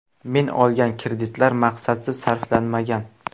Men olgan kreditlar maqsadsiz sarflanmagan.